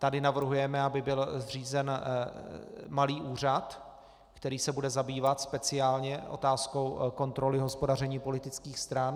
Tady navrhujeme, aby byl zřízen malý úřad, který se bude zabývat speciálně otázkou kontroly hospodaření politických stran.